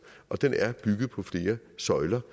og den er bygget på flere søjler